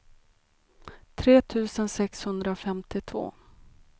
tre tusen sexhundrafemtiotvå